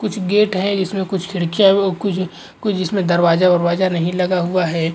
कुछ गेट है जिसमें कुछ खिड़किया भी कुछ कुछ इसमें दरवाज़ा वरवाज़ा नहीं लगा हुआ है।